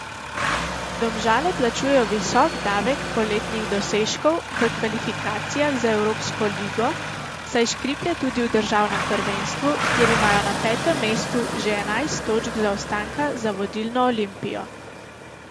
Domžale plačujejo visok davek poletnih dosežkov v kvalifikacijah za evropsko ligo, saj škriplje tudi v državnem prvenstvu, kjer imajo na petem mestu že enajst točk zaostanka za vodilno Olimpijo.